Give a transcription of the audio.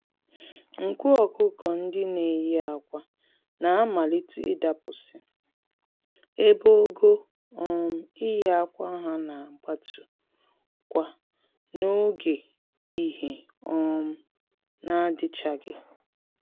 Nku ọkụkọ-ndị-neyi-ákwà na-amalite ịdapụsị, ebe ogo um iyi ákwà ha nagbatu-kwa n'oge ìhè um (daylight) n'adịchaghị.